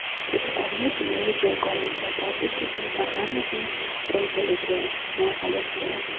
Deputatni jinoiy javobgarlikka tortish uchun parlamentning roziligini olish kerak.